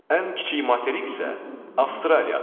Ən kiçik materik isə Avstraliyadır.